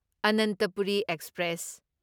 Ananthapuri express